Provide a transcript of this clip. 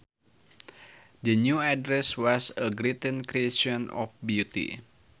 The new dress was a great creation of beauty